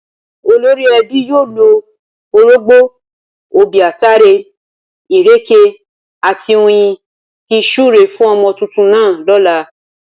Olórí ẹbí yóò lo orógbó, obì, ataare, ìrèké àti oyin fi súre fún ọmọ tuntun náà lọ́la